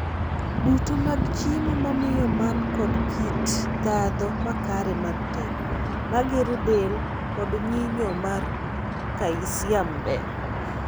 Duto mag chiemo mamiyo man kod kit ndhadho makare mag teko, magero del, kod nyinyo mar kalsiam ber.